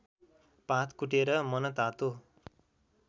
पात कुटेर मनतातो